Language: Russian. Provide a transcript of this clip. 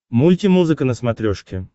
мульти музыка на смотрешке